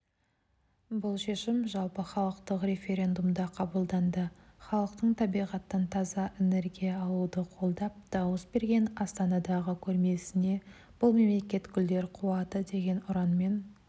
бұл шешім жалпыхалықтық референдумда қабылданды халықтың табиғаттан таза энергия алуды қолдап дауыс берген астанадағы көрмесіне бұл мемлекет гүлдер қуаты деген ұранмен